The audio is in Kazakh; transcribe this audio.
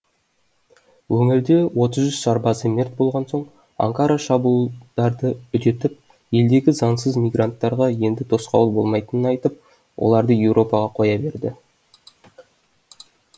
өңірде отыз үщ сарбазы мерт болған соң анкара шабуылдарды үдетіп елдегі заңсыз мигранттарға енді тосқауыл болмайтынын айтып оларды еуропаға қоя берді